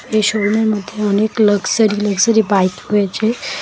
এই শোরুমের মধ্যে অনেক লাক্সারি লাক্সারি বাইক রয়েছে।